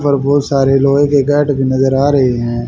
पर बहुत सारे लोहे के गेट की नजर आ रहे हैं।